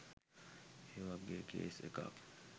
ඒවගේ කේස් එකක්